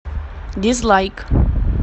дизлайк